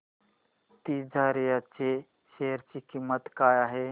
तिजारिया च्या शेअर ची किंमत काय आहे